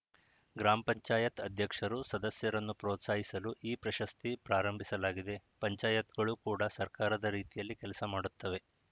ಗ್ರಾಮ ಪಂಚಾಯತ್‌ ಅಧ್ಯಕ್ಷರು ಸದಸ್ಯರನ್ನು ಪ್ರೋತ್ಸಾಹಿಸಲು ಈ ಪ್ರಶಸ್ತಿ ಪ್ರಾರಂಭಿಸಲಾಗಿದೆ ಪಂಚಾಯತ್‌ಗಳು ಕೂಡ ಸರ್ಕಾರದ ರೀತಿಯಲ್ಲೇ ಕೆಲಸ ಮಾಡುತ್ತವೆ